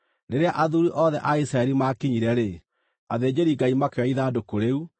Rĩrĩa athuuri othe a Isiraeli maakinyire-rĩ, athĩnjĩri-Ngai makĩoya ithandũkũ rĩu,